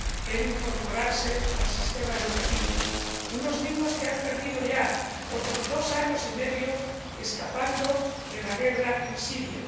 en incorporarse al sistema educativo ―unos niños que han perdido ya otros dos años y medio escapando de la guerra en Siria.